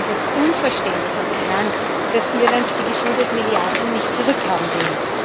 Und insofern ist es unverständlich, ja krank, dass Irland die geschuldeten Milliarden nicht zurückhaben will.